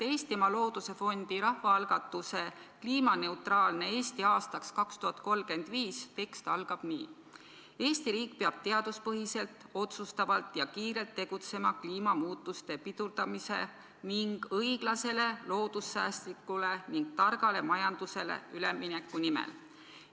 Eestimaa Looduse Fondi rahvaalgatuse "Kliimaneutraalne Eesti aastaks 2035" tekst algab nii: "Eesti riik peab teaduspõhiselt, otsustavalt ja kiirelt tegutsema kliimamuutuste pidurdamise ning õiglasele, loodussäästlikule ning targale majandusele ülemineku nimel.